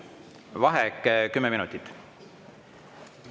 Vaheaeg kümme minutit.